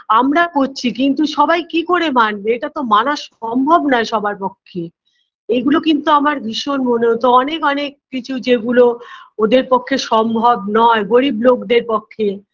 আমরা করছি কিন্তু সবাই কী করে মানবে এটাতো মানা সম্ভব নয় সবার পক্ষে এগুলো কিন্তু আমার ভীষণ মনে হতো অনেক অনেক কিছু যেগুলো ওদের পক্ষে সম্ভব নয় গরীব লোকদের পক্ষে